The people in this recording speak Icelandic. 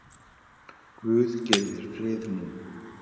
Guð gefi þér frið nú.